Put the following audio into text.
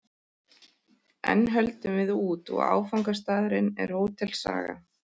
Enn höldum við út, og áfangastaðurinn er Hótel Saga.